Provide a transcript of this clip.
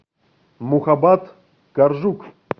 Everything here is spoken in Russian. мухабат коржук